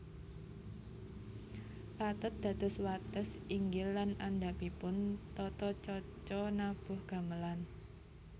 Pathet dados wates inggil lan andhapipun tata caca nabuh gamelan